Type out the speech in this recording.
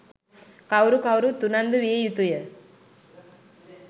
කවුරු කවුරුත් උනන්දු විය යුතුය.